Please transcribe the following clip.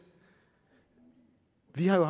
vi har jo